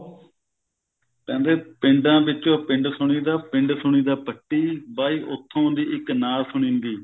ਕਹਿੰਦੇ ਪਿੰਡਾ ਵਿੱਚੋਂ ਪਿੰਡ ਸੁਣੀਦਾ ਪਿੰਡ ਸੁਣੀਦਾ ਪੱਟੀ ਬਾਈ ਉਥੋਂ ਦੀ ਇੱਕ ਨਾਰ ਸੁਣੀ ਦੀ